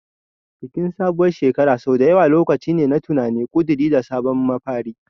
Bikin sabuwar shekara sau da yawa lokaci ne na tunani, ƙuduri, da sabon mafari.